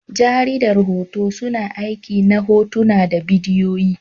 Jaridar hoto, suna aiki ne hotuna da bidiyoyi.